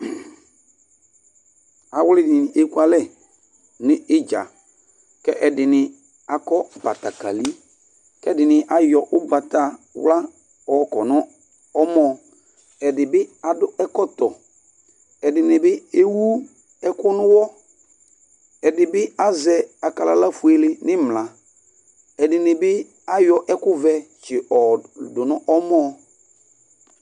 Awli dini ekualɛ n'idza, k'ɛdini akɔ batakali, k'ɛdini ayɔ ugbatawlá ɔkɔ n'ɔmɔ, ɛdi bi adu ɛkɔtɔ, ɛdini bi ewu ɛku n'uwɔ, ɛdi bi azɛ akalala fuele n'imla , ɛdini bi ayɔ ɛku vɛ tsì yɔ dù n'ɔmɔ́